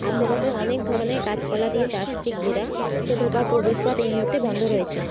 আশে পাশে অনেক ধরনের গাছপালা দিয়ে চার্চ টি ঘিরা সে ধোঁকার প্রবেশপথ এই মুহূর্তে বন্ধ রয়েছে।